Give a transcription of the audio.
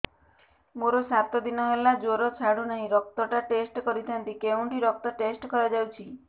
ମୋରୋ ସାତ ଦିନ ହେଲା ଜ୍ଵର ଛାଡୁନାହିଁ ରକ୍ତ ଟା ଟେଷ୍ଟ କରିଥାନ୍ତି କେଉଁଠି ରକ୍ତ ଟେଷ୍ଟ କରା ଯାଉଛି